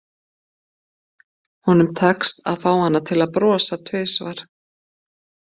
Honum tekst að fá hana til að brosa tvisvar.